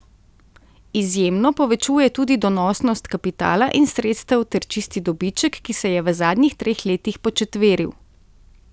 Izjemno povečuje tudi donosnost kapitala in sredstev ter čisti dobiček, ki se je v zadnjih treh letih početveril.